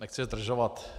Nechci zdržovat.